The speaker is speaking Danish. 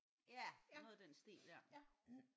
Ja noget i den stil ja